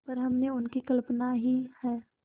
पर हमने उनकी कल्पना ही है